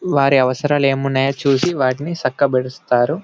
వారి అవసరాలు ఏమున్నాయో చూసి వాటిని సక్క బెడుస్తారు.